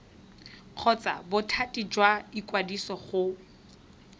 kgotsa bothati jwa ikwadiso go